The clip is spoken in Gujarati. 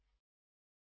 નેક્સ્ટ ક્લિક કરો